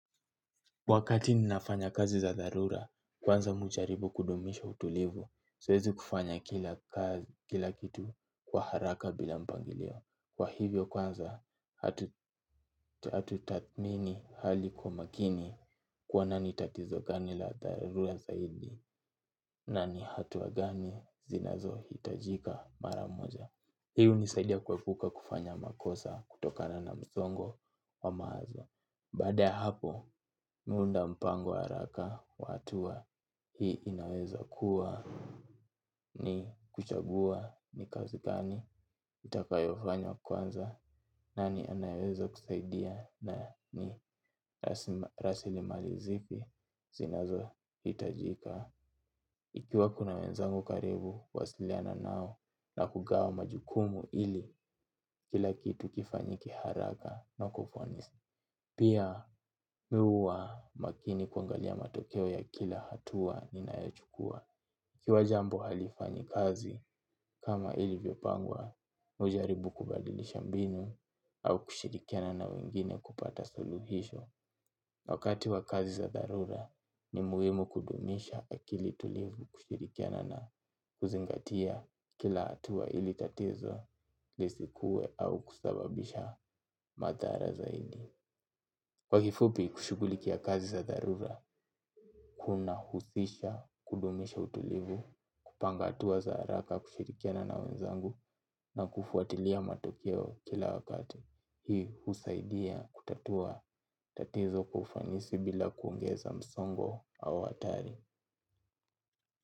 Wakati ninafanya kazi za dharura, kwanza ujaribu kudumisha utulivu, siwezi kufanya kila kitu kwa haraka bila mpangilio. Kwa hivyo kwanza, hatu tathmini hali kwa makini kwa nani tatizo gani la dharura zaidi, nani hatua gani zinazo hitajika mara moja. Hii unisaidia kuepuka kufanya makosa kutokana na msongo wa mawazo. Baada ya hapo mi uunda mpango haraka kwa hatua hii inaweza kuwa ni kuchagua ni kazi gani nitakayofanya kwanza nani anayeweza kusaidia na ni rasilimali zipi zinazo hitajika. Ikiwa kuna wenzangu karibu, kuwasiliana nao na kugawa majukumu ili kila kitu kifanyike haraka na kwa ufanisi. Pia, mi huwa makini kwangalia matokeo ya kila hatua ninayochukua. Ikiwa jambo halifanyi kazi, kama ilivyopangwa, ujaribu kubadilisha mbinu au kushirikiana na wengine kupata suluhisho. Wakati wa kazi za dharura ni muhimu kudumisha akili tulivu kushirikiana na kuzingatia kila hatua ili tatezo lisikue au kusababisha madhara zaidi. Kwa kifupi kushugulikia kazi za dharura, kuna husisha kudumisha utulivu kupanga atua za haraka kushirikiana na wenzangu na kufuatilia matokeo kila wakati. Hii usaidia kutatua tatizo kwa ufanisi bila kuongeza msongo au atari.